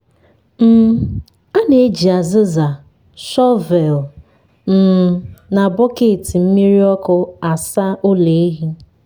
um a na-eji azịza shọvel um na bọket mmiri ọkụ asa ụlọ ehi.